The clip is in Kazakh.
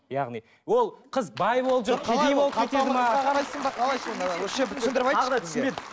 яғни ол қыз бай болып жүр кедей болып кетеді ме қалай сонда осы жерді түсіндіріп айтшы